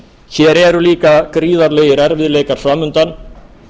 hér eru líka gríðarlegir erfiðleikar fram undan